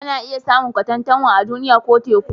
Ana iya samun katantanwa a Duniya ko Teku